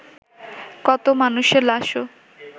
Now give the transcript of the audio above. কত মানুষের লাশও